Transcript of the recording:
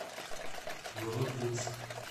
новодвинск